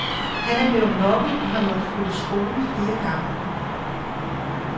Han er blevet mobbet og har måttet flytte skole flere gange.